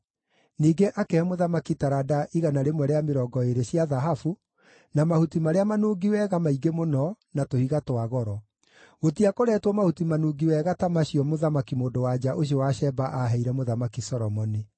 Ningĩ akĩhe mũthamaki taranda 120 cia thahabu, na mahuti marĩa manungi wega maingĩ mũno na tũhiga twa goro. Gũtiakoretwo mahuti manungi wega ta macio mũthamaki-mũndũ-wa-nja ũcio wa Sheba aaheire Mũthamaki Solomoni.